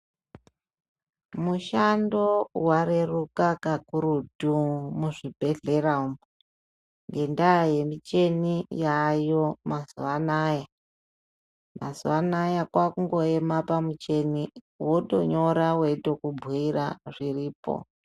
Mushando wareruka kakurutu muzvibhedhlera umu ngendaa yemichini yaayo mazuva anaya, mazuva anaya kwakungoema pamuchini wotonyora weitokubhuira zviripo.